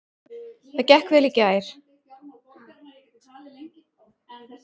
Það gekk vel í gær.